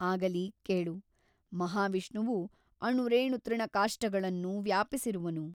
ಆಗಲಿ ಕೇಳು ಮಹಾವಿಷ್ಣುವು ಅಣುರೇಣುತೃಣಕಾಷ್ಠಗಳನ್ನು ವ್ಯಾಪಿಸಿರುವನು.